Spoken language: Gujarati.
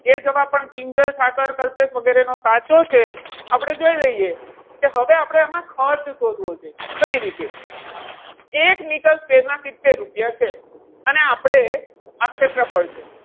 એ જવાબ પણ કિંજલ ઠાકર, કલ્પેશ વગેરેનો સાચો છે. આપણે જોઈ લઈએ કે હવે આપણે આમાં ખર્ચ શોધવો છે કઈ રીતે? એક મીટર square ના સિત્તેર રૂપિયા છે અને આપણે આ ક્ષેત્રફળ છે.